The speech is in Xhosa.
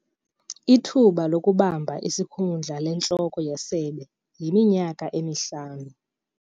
Ithuba lokubamba isikhundla lentloko yesebe yiminyaka emihlanu.